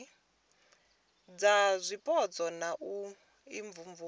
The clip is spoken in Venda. dza zwipotso na u imvumvusa